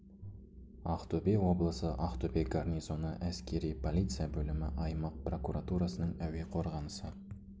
ақтөбе облысы ақтөбе гарнизоны әскери полиция бөлімі аймақ прокуратурасының әуе қорғанысы